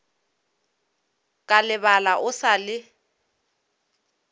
ka lebala o sa le